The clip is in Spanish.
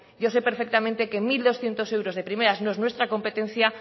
yo sé perfectamente que mil doscientos euros de primeras no es nuestra competencia